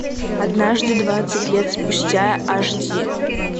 однажды двадцать лет спустя аш ди